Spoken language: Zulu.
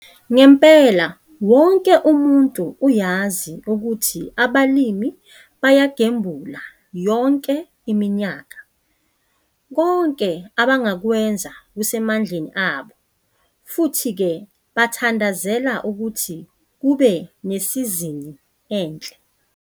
Ngempela wonke umuntu uyazi ukuthi abalimi bayagembula yonke iminyaka? Konke abangakwenza kusemandleni abo - futhi ke bathandazela ukuthi kube nesizini enhle!